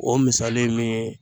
O misali min ye